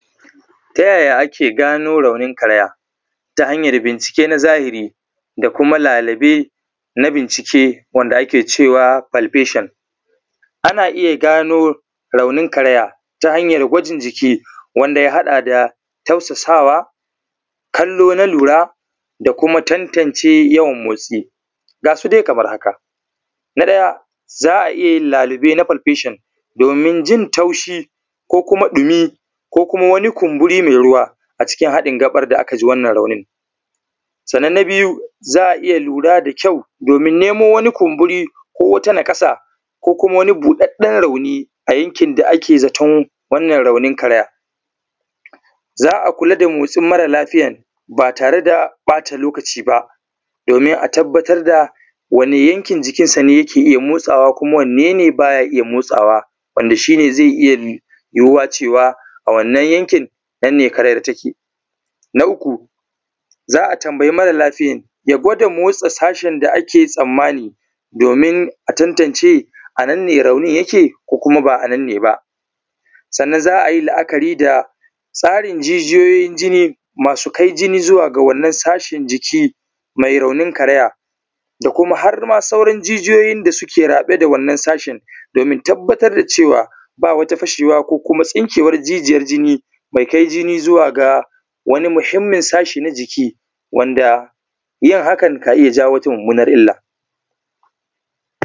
Ta yaya aka gano raunin karaya, ta hanyar bincike na Zahiri da kuma lalube na bincike, wanda ake cewa palpation? Ana iya gano raunin karaya ta hanyar gwajin jiki wanda ya haɗa da tausasawa, kallo na lura, da kuma tantance yawan motsi. Ga su dai kamar haka: Na ɗaya, za a iya yin lalube na palpation domin jin taushi ko kuma ɗumi ko kuma wani kumburi mai ruwa cikin haɗin gaɓar da aka ji wannan raunin. Sannan na biyu, za a iya lura da kyau domin nemo wani kumburi ko wata nakasa ko kuma wani buɗaɗɗen rauni a yankin da ake zaton wannan raunin karaya. Za a kula da motsin mara lafiyan ba tare da ɓata lokaci ba domin a tabbatar da wanne yankin jikinsa ne yake iya motsawa, kuma wanne ne bay a iya motsawa, wanda wannan shi ne zai iya yiwuwa cewa, a wannan yankin, nan ne karayar take. Na uku, za a tambayi mara lafiyan, ya gwada motsa sashen da ake tsammani domin a tantance a nan ne raunin yake, ko kuma ba a nan ne ba. Sannan za a yi la’kari da tsarin jijiyoyin jini, masu kai jini zuwa ga wannan sashen jiki mai raunin karaya da kuma har ma sauran jijiyoyin da suke raɓe da wannan sashen domin tabbatar da cewa ba wata fashewa ko kuma tsinkewar jijiyar jini, mai ka jini zuwa ga wani muhimmin sashe na jiki wanda yin hakan, ka iya jawo wata mummunar illa.